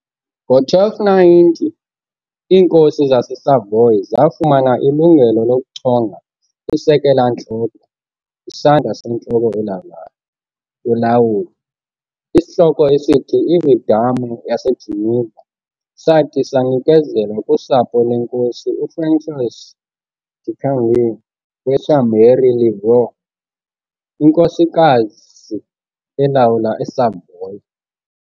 Ngo-1290 iinkosi zaseSavoy zafumana ilungelo lokuchonga isekela-ntloko, isandla sentloko elawulayo, yolawulo, isihloko esithi iVidame yaseGeneva sathi sanikezelwa kusapho lenkosi uFrançois de Candie weChambéry-Le-Vieux inkosikasi elawula eSavoy.